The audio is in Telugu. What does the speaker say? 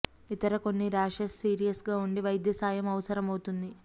ఇతర కొన్ని ర్యాషెస్ సీరియస్ గా ఉండి వైద్య సాయం అవసరమవుతుంది